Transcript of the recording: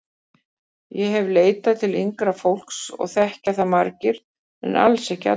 Ég hef leitað til yngra fólks og þekkja það margir en alls ekki allir.